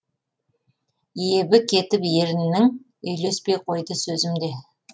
ебі кетіп еріннің үйлеспей қойды сөзім де